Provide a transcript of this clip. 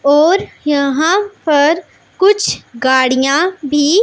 और यहां पर कुछ गाड़ियां भीं--